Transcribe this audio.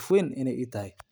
waxbarasho, shaqo, iyo taageero dhaqaale.